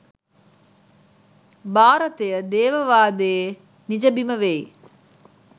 භාරතය දේව වාදයේ නිජබිම වෙයි.